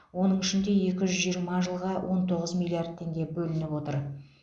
оның ішінде екі жүз жиырма жылға он тоғыз миллиард теңге бөлініп отыр